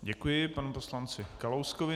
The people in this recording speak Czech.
Děkuji panu poslanci Kalouskovi.